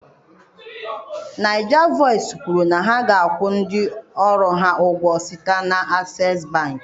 NaijaVoice kwuru na ha ga-akwụ ndị ọrụ ha ụgwọ site na Access bank.